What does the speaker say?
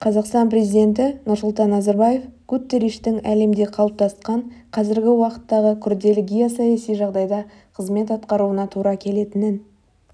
қазақстан президенті нұрсұлтан назарбаев гутерриштің әлемде қалыптасқан қазіргі уақыттағы күрделі геосаяси жағдайда қызмет атқаруына тура келетінін